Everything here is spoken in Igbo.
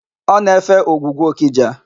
Ọ na-efe ogwugwu Ọkịja.